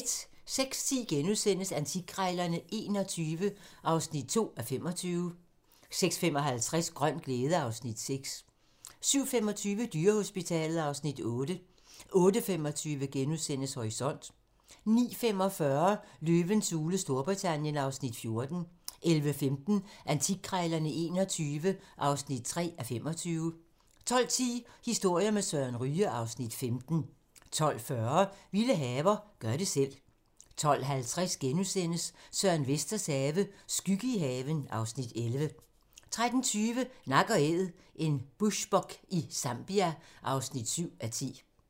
06:10: Antikkrejlerne XXI (2:25)* 06:55: Grøn glæde (Afs. 6) 07:25: Dyrehospitalet (Afs. 8) 08:25: Horisont * 09:45: Løvens hule Storbritannien (Afs. 13) 11:15: Antikkrejlerne XXI (3:25) 12:10: Historier med Søren Ryge (Afs. 15) 12:40: Vilde haver - gør det selv 12:50: Søren Vesters have - skygge i haven (Afs. 11)* 13:20: Nak & Æd - en bushbuck i Zambia (7:10)